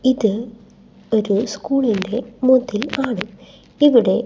ഇത് ഒരു സ്കൂളിൻറെ മതിൽ ആണ് ഇവിടെ--